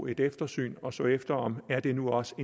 et eftersyn og ser efter om det nu også